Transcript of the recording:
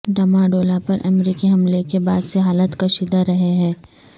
ڈمہ ڈولا پر امریکی حملےکے بعد سے حالات کشیدہ رہے ہیں